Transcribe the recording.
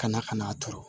Ka na ka n'a turu